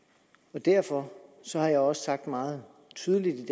derfor har jeg også sagt meget tydeligt i